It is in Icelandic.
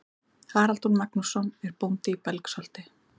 Haraldur Magnússon er bóndi í Belgsholti.